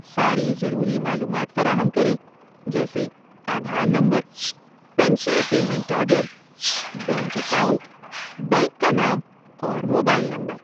ساری ضروری معلومات فراہم کریں جیسے Aadhaar number, pension payment order, bank account, bank کا نام، اور موبائل نمبر۔